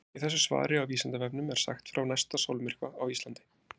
í þessu svari á vísindavefnum er sagt frá næsta sólmyrkva á íslandi